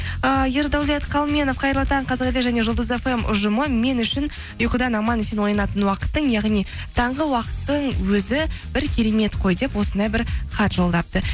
ііі ердәулет қалменов қайырлы таң қазақ елі және жұлдыз фм ұжымы мен үшін ұйқыдан аман есен оянатын уақыттың яғни таңғы уақыттың өзі бір керемет қой деп осындай бір хат жолдапты